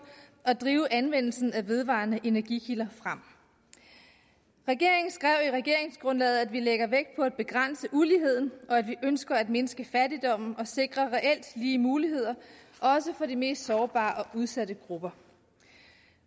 og drive anvendelsen af vedvarende energikilder frem regeringen skrev i regeringsgrundlaget at vi lægger vægt på at begrænse uligheden og at vi ønsker at mindske fattigdommen og sikre reelt lige muligheder også for de mest sårbare og udsatte grupper